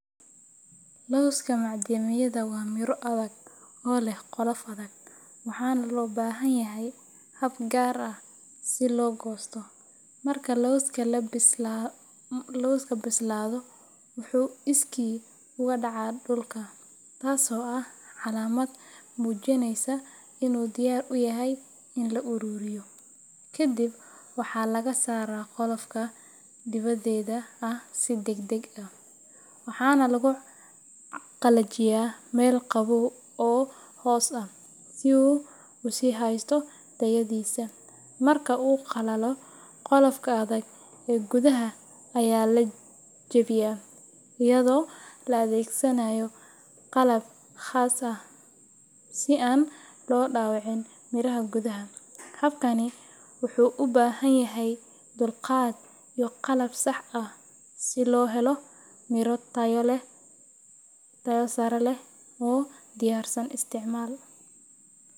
Loska macdayda waa miro adag oo lah qolof adag waxana lo bahanyahah hab gar ah sii lo gostoh, marki loskab loska bisladoh wuxu iskisa oga daca dulka taas oo ah calamad mujinaysoh inu diyar yahay inu la ururiyoh, ka dhib wax laga sara qolofka diwadada sii dag dag ah, waxa na lagu qalajiyah mal qawow oo hoos ah sii u usihastoh tayadisah, marku qalatoh qolfoka adag ah ku daha aya la jawbiyah ayado laa adgsanayoh qalbka qasa ah sii an lo dawicin mira ah guda ha habkani wuxu ubahanyahay dulqad iyo qalab sax ah. si loo helo miro taya lah tayo sara lah oo diyarsan isticmal.